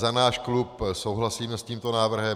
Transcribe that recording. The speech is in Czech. Za náš klub souhlasíme s tímto návrhem.